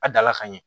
A dala ka ɲɛ